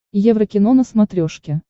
еврокино на смотрешке